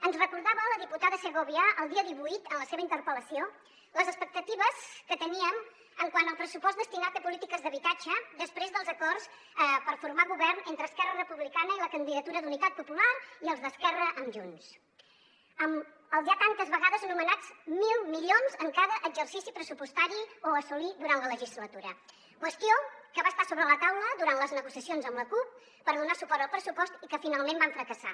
ens recordava la diputada segovia el dia divuit en la seva interpel·lació les expectatives que teníem quant al pressupost destinat a polítiques d’habitatge després dels acords per formar govern entre esquerra republicana i la candidatura d’unitat popular i els d’esquerra amb junts amb els ja tantes vegades anomenats mil milions en cada exercici pressupostari o a assolir durant la legislatura qüestió que va estar sobre la taula durant les negociacions amb la cup per donar suport al pressupost i que finalment va fracassar